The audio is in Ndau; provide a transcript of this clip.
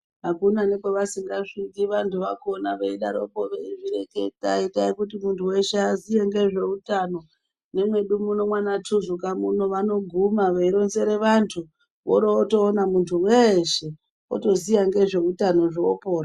Akuna nekwavasingasviki vantu vakona veidaroko veizvireketa itai kuti muntu hweshe aziye ngezveutano nemwedu muno mwanaTuzuka muno vanoguma veironzere vantu vorotoona muntu hweshe otoziya ngezveutano zvoopora.